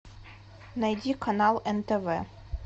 найди канал нтв